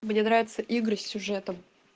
мне нравятся игры с сюжетом